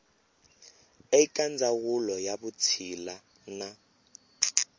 eka ndzawulo ya vutshila na